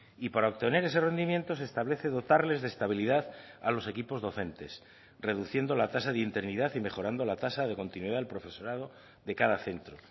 y para obtener ese rendimiento se establece dotarles de estabilidad a los equipos docentes reduciendo la tasa de interinidad y mejorando la tasa de continuidad del profesorado de cada centro